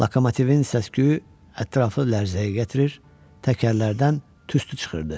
Lokomotivin səs-küyü ətrafı lərzəyə gətirir, təkərlərdən tüstü çıxırdı.